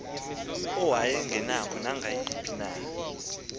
awayengenako nangayiphi na